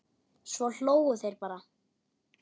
Svo hlógu þeir bara.